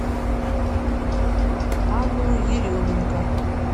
анну еременко